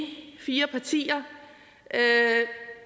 fire partier